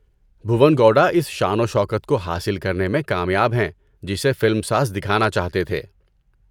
بھوون گوڈا اس شان و شکوہ کو حاصل کرنے میں کامیاب ہیں جسے فلم ساز دکھانا چاہتے تھے۔